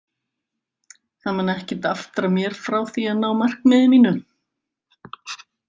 Það mun ekkert aftra mér frá því að ná markmiði mínu.